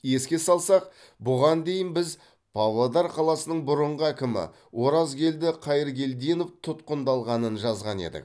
еске салсақ бұған дейін біз павлодар қаласының бұрынғы әкімі оразгелді қайыргелдинов тұтқындалғанын жазған едік